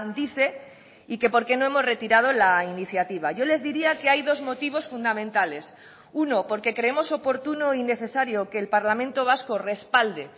dice y que por qué no hemos retirado la iniciativa yo les diría que hay dos motivos fundamentales uno porque creemos oportuno y necesario que el parlamento vasco respalde